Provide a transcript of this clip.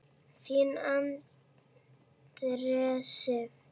Þín Andrea Sif.